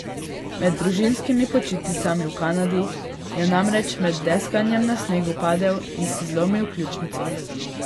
Med družinskimi počitnicami v Kanadi je namreč med deskanjem na snegu padel in si zlomil ključnico.